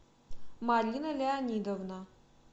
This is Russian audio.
марина леонидовна